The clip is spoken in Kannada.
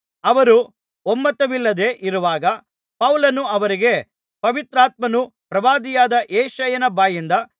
ಅವರು ಒಮ್ಮತವಿಲ್ಲದೆ ಇರುವಾಗ ಪೌಲನು ಅವರಿಗೆ ಪವಿತ್ರಾತ್ಮನು ಪ್ರವಾದಿಯಾದ ಯೆಶಾಯನ ಬಾಯಿಂದ